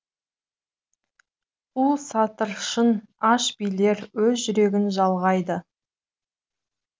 қу старшын аш билер өз жүрегін жалғайды